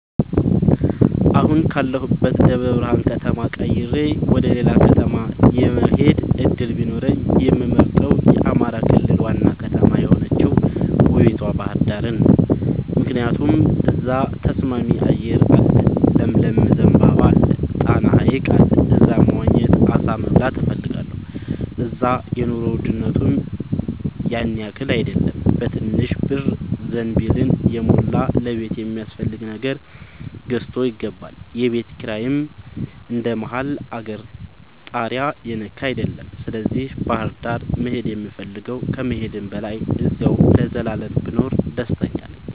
አሁን ካለሁበት ደብረብርሃን ከተማ ቀይሬ ወደሌላ ከተማ የመሆድ እድል ቢኖረኝ የምመርጠው የአማራ ክልል ዋና ከተማ የሆነችውን ውቡቷ ባህርዳርን ነው። ምክንያቱም እዛ ተስማሚ አየር አለ ለምለም ዘንባባ አለ። ጣና ሀይቅ አለ እዛ መዋኘት አሳ መብላት እፈልጋለሁ። እዛ የኑሮ ውድነቱም ያንያክል አይደለም በትንሽ ብር ዘንቢልን የሞላ ለቤት የሚያስፈልግ ነገር ገዝቶ ይገባል። የቤት ኪራይም እንደ መሀል አገር ታሪያ የነካ አይደለም ስለዚህ ባህርዳር ነው መሄድ የምፈልገው ከመሄድም በላይ አዚያው ለዘላለም ብኖር ደስተኛ ነኝ።